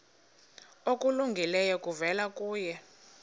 okulungileyo kuvela kuye